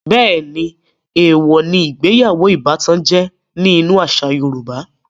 Bẹ́ẹ̀ni, èèwò ní ìgbéyàwó ìbátan jẹ́ ní inú àṣà yorùbá